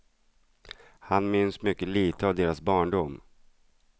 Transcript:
Han minns mycket lite av deras barndom.